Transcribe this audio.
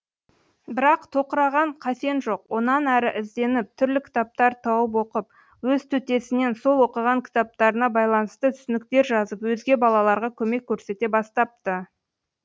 бірақ тоқыраған қасен жоқ онан әрі ізденіп түрлі кітаптар тауып оқып өз төтесінен сол оқыған кітаптарына байланысты түсініктер жазып өзге балаларға көмек көрсете бастапты